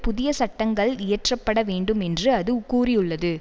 புதிய சட்டங்கள் இயற்றப்பட வேண்டும் என்று அது கூறியுள்ளது